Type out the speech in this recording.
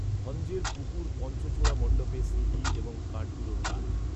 ভঞ্জের পুকুর পঞ্চচূড়া মণ্ডপে সি ডি এবং কাঠগুঁড়োর কাজ